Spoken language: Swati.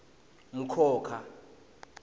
mkhokha